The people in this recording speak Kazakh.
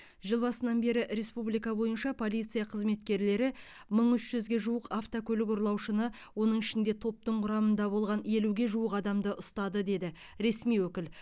жыл басынан бері республика бойынша полиция қызметкерлері мың үш жүзге жуық автокөлік ұрлаушыны оның ішінде топтың құрамында болған елуге жуық адамды ұстады деді ресми өкіл